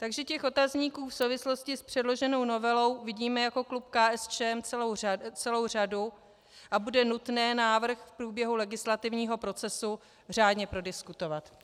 Takže těch otazníků v souvislosti s předloženou novelou vidíme jako klub KSČM celou řadu a bude nutné návrh v průběhu legislativního procesu řádně prodiskutovat.